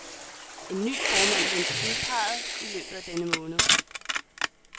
En ny formand ventes udpeget i løbet af denne måned.